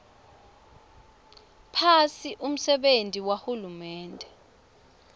phasi umsebenti wahulumende